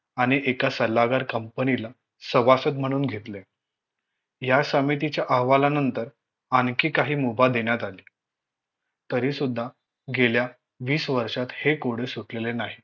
आणि एका सल्लागार company ला सभासद म्हणून घेतले या समितीच्या अहवालानंतर आणखी काही मुभा देण्यात आली तरी सुद्धा गेल्या वीस वर्षात हे कोडे सुटलेले नाही